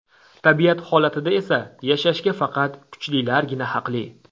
Tabiat holatida esa yashashga faqat kuchlilargina haqli.